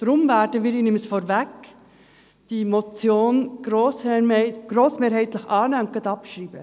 Deshalb werden wir – ich nehme es vorneweg – die Motion grossmehrheitlich annehmen und gleichzeitig abschreiben.